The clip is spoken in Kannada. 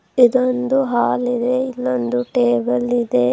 ಇದೊಂದು ಹಾಲ್ ಇದೆ ಇಲ್ಲೊಂದು ಟೇಬಲ್ ಇದೆ.